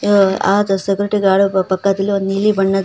ಆ security guard ಪಕ್ಕದಲ್ಲಿ ಒಂದು ನೀಲಿ ಬಣ್ಣದ.